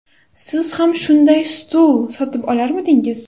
Siz ham shunday stul sotib olarmidingiz?